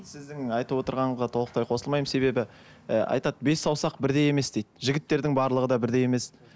сіздің айтып отырғанға толықтай қосылмаймын себебі і айтады бес саусақ бірдей емес дейді жігіттердің барлығы да бірдей емес